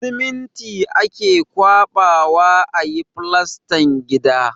Siminti ake ƙwaɓawa a yi filastan gida.